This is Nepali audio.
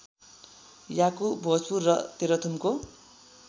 याकु भोजपुर र तेह्रथुमको